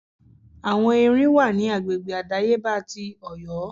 Àwọn Erin wà ní agbègbè àdáyébá ti Ọ̀yọ́.